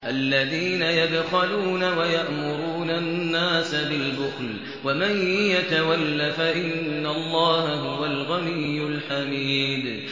الَّذِينَ يَبْخَلُونَ وَيَأْمُرُونَ النَّاسَ بِالْبُخْلِ ۗ وَمَن يَتَوَلَّ فَإِنَّ اللَّهَ هُوَ الْغَنِيُّ الْحَمِيدُ